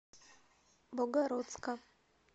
богородска